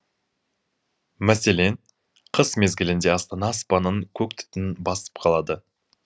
мәселен қыс мезгілінде астана аспанын көк түтін басып қалады